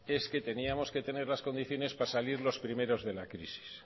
es que teníamos que tener las condiciones para salir los primeros de la crisis